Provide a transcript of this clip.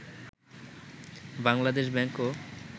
Bangladesh ব্যাংকও